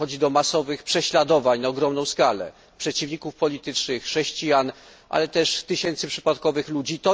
Dochodzi do masowych prześladowań na ogromną skalę przeciwników politycznych, chrześcijan, ale też tysięcy przypadkowych ludzi.